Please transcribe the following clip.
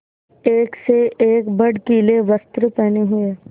एक से एक भड़कीले वस्त्र पहने हुए